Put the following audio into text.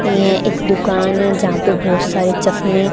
ये एक दुकान है जहां पे बहोत सारे चश्मे--